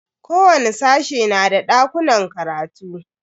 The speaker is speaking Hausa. Kowani sashe na da dakunan karatu.